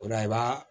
O la i b'a